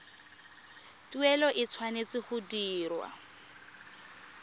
tuelo e tshwanetse go dirwa